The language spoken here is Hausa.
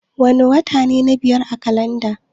Wana wata ne na biyar a kalanda?